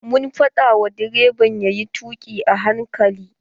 Mun faɗa wa direban yayi tuƙi a hankali.